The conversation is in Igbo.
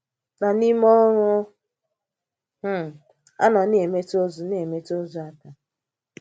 Na n’í mè̩ ọ̀rụ̀ um à, ọ̀ na-èmètụ̀ òzù na-èmètụ̀ òzù áká.